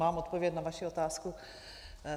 Mám odpověď na vaši otázku.